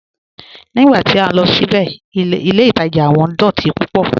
Nígbà tí a lọ síbẹ̀, ilẹ̀ Ìtaja wọn dọ̀tí púpọ̀"